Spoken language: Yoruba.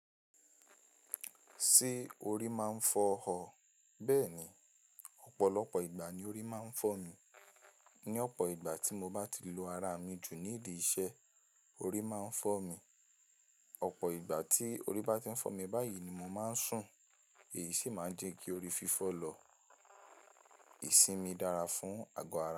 Ṣé orí máa ń fọ́ ọ? Bẹ́ẹ̀ni, ọ̀pọ̀lọpọ̀ ìgbà ni orí máa ń fọ́ mi. Ni ọ̀pọ̀ ìgbà tí mo bá ti lo ara mi jù nídi iṣẹ́, orí máa ń fọ́ mi. Ọ̀pọ̀ ìgbà tí orí bá ti ń fọ́ mi báyìí ni mo máa ń sùn, èyí sì máa ń jẹ́ kí orí fífọ́ lọ. Ìsinmi dára fún àgọ́ ara.